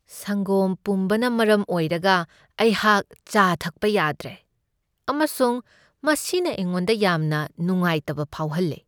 ꯁꯪꯒꯣꯝ ꯄꯨꯝꯕꯅ ꯃꯔꯝ ꯑꯣꯏꯔꯒ ꯑꯩꯍꯥꯛ ꯆꯥ ꯊꯛꯄ ꯌꯥꯗ꯭ꯔꯦ ꯑꯃꯁꯨꯡ ꯃꯁꯤꯅ ꯑꯩꯉꯣꯟꯗ ꯌꯥꯝꯅ ꯅꯨꯡꯉꯥꯏꯇꯕ ꯐꯥꯎꯍꯜꯂꯦ ꯫